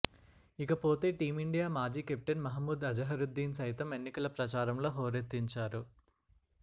ఇకపోతే టీమిండియా మాజీ కెప్టెన్ మహమ్ముద్ అజహరుద్దీన్ సైతం ఎన్నికల ప్రచారంలో హోరెత్తించారు